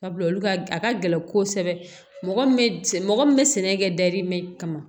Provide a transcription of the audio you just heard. Sabula olu ka a ka gɛlɛn kosɛbɛ mɔgɔ min bɛ mɔgɔ min bɛ sɛnɛ kɛ dayirimɛ kama